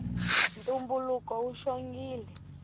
ntumbuluko wu xongile